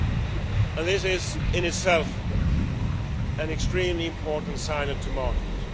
And this is in itself an extremely important signal to markets.